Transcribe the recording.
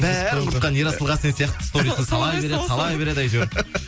бәрін құртқан ерасыл қасен сияқты сторизді сала береді сала береді әйтеуір